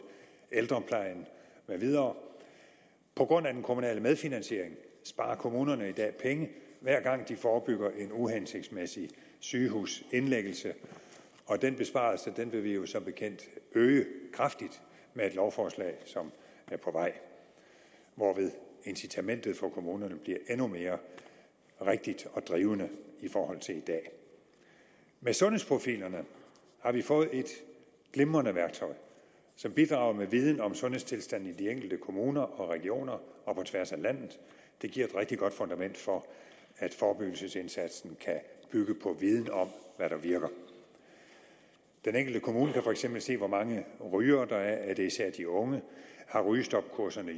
ældreplejen med videre på grund af den kommunale medfinansiering sparer kommunerne i dag penge hver gang de forebygger en uhensigtsmæssig sygehusindlæggelse og den besparelse vil vi jo som bekendt øge kraftigt med et lovforslag som er på vej og hvorved incitamentet for kommunerne bliver endnu mere rigtigt og drivende i forhold til i dag med sundhedsprofilerne har vi fået et glimrende værktøj som bidrager med viden om sundhedstilstanden i de enkelte kommuner og regioner og på tværs af landet det giver et rigtig godt fundament for at forebyggelsesindsatsen kan bygge på viden om hvad der virker den enkelte kommune kan for eksempel se hvor mange rygere der er om det især er de unge om rygestopkurserne